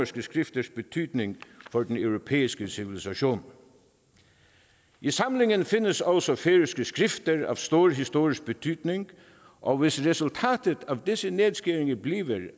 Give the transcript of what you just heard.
skrifters betydning for den europæiske civilisation i samlingen findes også færøske skrifter af stor historisk betydning og hvis resultatet af disse nedskæringer bliver